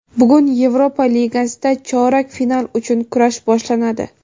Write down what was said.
Bugun Yevropa Ligasida chorak final uchun kurash boshlanadi.